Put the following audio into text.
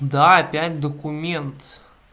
да опять документ